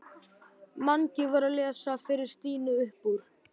Mangi var að lesa fyrir Stínu upp úr